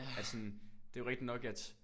At sådan det er jo rigtig nok at